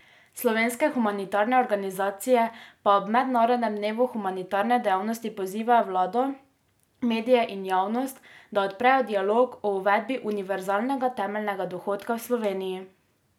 Slovenske humanitarne organizacije pa ob mednarodnem dnevu humanitarne dejavnosti pozivajo vlado, medije in javnost, da odprejo dialog o uvedbi univerzalnega temeljnega dohodka V Sloveniji.